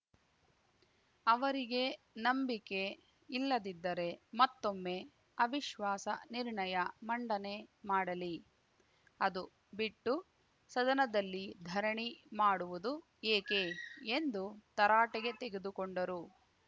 ಅವರಿಗೆ ನಂಬಿಕೆ ಇಲ್ಲದಿದ್ದರೆ ಮತ್ತೊಮ್ಮೆ ಅವಿಶ್ವಾಸ ನಿರ್ಣಯ ಮಂಡನೆ ಮಾಡಲಿ ಅದು ಬಿಟ್ಟು ಸದನದಲ್ಲಿ ಧರಣಿ ಮಾಡುವುದು ಏಕೆ ಎಂದು ತರಾಟೆಗೆ ತೆಗೆದುಕೊಂಡರು